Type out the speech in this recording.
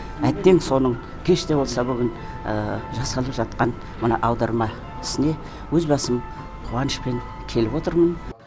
әттең соның кеш те болса бүгін жасалып жатқан мына аударма ісіне өз басым қуанышпен келіп отырмын